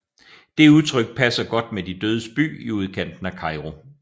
Det udtryk passer godt med De Dødes By i udkanten af Cairo